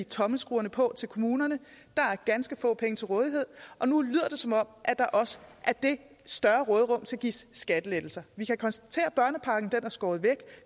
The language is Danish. tommelskruerne på kommunerne der er ganske få penge til rådighed og nu lyder det som om der også af det større råderum skal gives skattelettelser vi kan konstatere at børnepakken er skåret væk